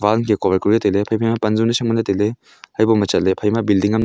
pan che kowai ko e tailey iphaima pan zohnu nyai sham nganley tailey haiboma chatley phaima building am--